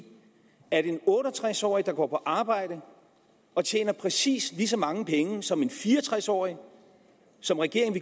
at en otte og tres årig der går på arbejde og tjener præcis lige så mange penge som en fire og tres årig som regeringen